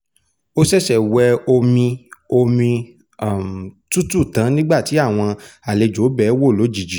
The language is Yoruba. ó ṣẹ̀ṣẹ̀ wẹ omi omi tútù tán nígbà tí àwọn àlejò bẹ̀ẹ́ wò lójijì